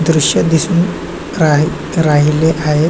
दृश दिसून राही राहिले आहे.